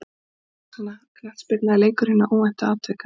Knattspyrna er leikur hinna óvæntu atvika.